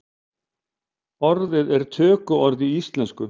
Orðið er tökuorð í íslensku.